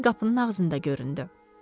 Milli qapının ağzında göründü.